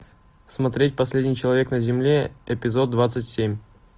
смотреть последний человек на земле эпизод двадцать семь